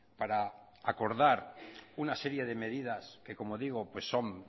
para acordar una serie de medidas que como digo son